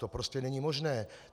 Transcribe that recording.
To prostě není možné.